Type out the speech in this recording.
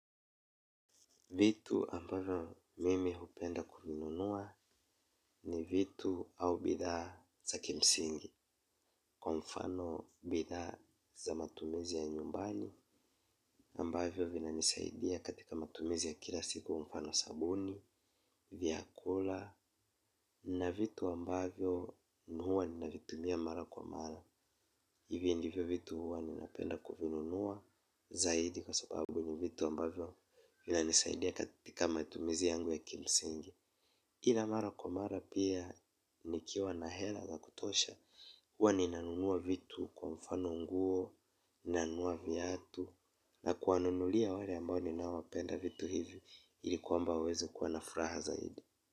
Vitu ambavyo mimi hupenda kununua ni vitu au bidhaa za kimsingi kwa mfano bidhaa za matumizi ya nyumbani ambavyo vinanisaidia katika matumizi ya kila siku mfano sabuni, vyakula na vitu ambavyo huwa ninavitumia mara kwa mara. Hivi njivyo vitu huwa ninapenda kuvinunuwa zaidi kwa sababu ni vitu ambavyo vina nisaidia katika matumizi yangu ya kimsingi ila mara kwa mara pia nikiwa na hela za kutosha huwa ninanunuwa vitu kwa mfano nguo, ninanunuwa viatu na kuwanunulia wale ambao ninapenda vitu hivi ili kwamba waweze kuwa na fraha zaidi.